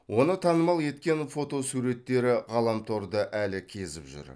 оны танымал еткен фотосуреттері ғаламторды әлі кезіп жүр